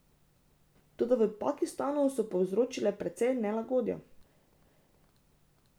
Toda v Pakistanu so povzročile precej nelagodja.